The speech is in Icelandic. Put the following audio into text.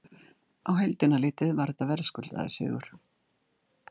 Á heildina litið var þetta verðskuldaður sigur.